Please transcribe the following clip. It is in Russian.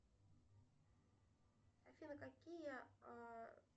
афина какие